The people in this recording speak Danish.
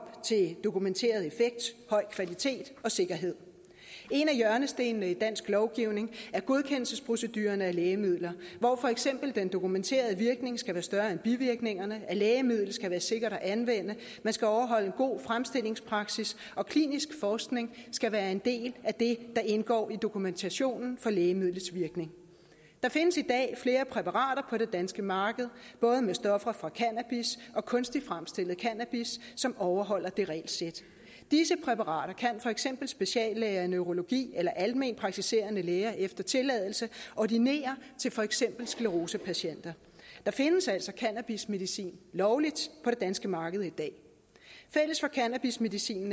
dokumenteret effekt høj kvalitet og sikkerhed en af hjørnestenene i dansk lovgivning er godkendelsesproceduren af lægemidler hvor for eksempel den dokumenterede virkning skal være større end bivirkningerne lægemidlet skal være sikkert at anvende man skal overholde god fremstillingspraksis og klinisk forskning skal være en del af det der indgår i dokumentationen for lægemidlets virkning der findes i dag flere præparater på det danske marked både med stoffer fra cannabis og kunstig fremstillet cannabis som overholder det regelsæt disse præparater kan for eksempel speciallæger i neurologi eller alment praktiserende læger efter tilladelse ordinere til for eksempel sklerosepatienter der findes altså cannabismedicin lovligt på det danske marked i dag fælles for cannabismedicinen